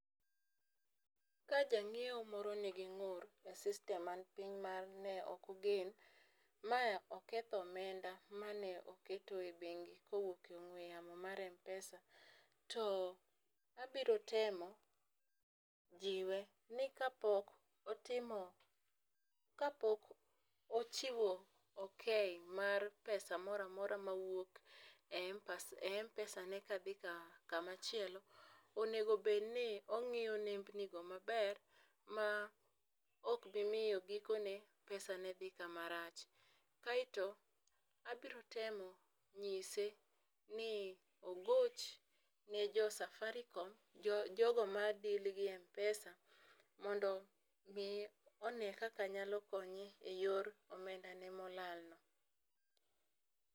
Ka jang'iewo moro nigi ng'ur e system man piny ma ne ok ogen mae oketho omenda manoketo e bengi kowuok e ong'we yamo mar mpesa, to abiro temo jiwe ni kapok otimo kapok ochiwo okay mar pesa moramora mawuok e mpa mpesa ne kadhi kama chielo onego bed ni ongiyo nembni go maber ma ok bimiyo gikone dhi kama rach . Kae to abiro temo ng'ise no ogoch ne jo-safarikom jo jogo ma deal gi mpesa mondo omi one kaka nyalo konye e yor omenda ne molal no .